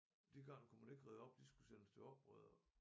De garn kunne man ikke rede op de skulle sende til opredere